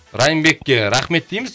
райымбекке рахмет дейміз